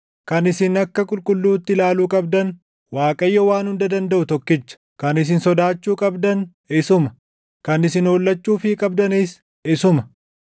Kan isin akka qulqulluutti ilaaluu qabdan // Waaqayyoo Waan Hunda Dandaʼu tokkicha; kan isin sodaachuu qabdan isuma; kan isin hollachuufii qabdanis isuma.